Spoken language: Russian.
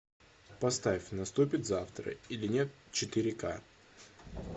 поставь наступит завтра или нет четыре ка